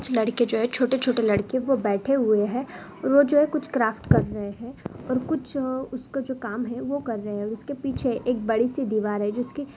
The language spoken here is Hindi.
कुछ लड़के जो हैं छोटे छोटे लड़के वो बैठे हुए हैं वो जो कुछ क्राफ्ट कर रहे हैं और कुछ उसको जो काम हैं वो कर रहे हैं उसके पीछे एक बड़ी सी दिवार हैं। जिसके --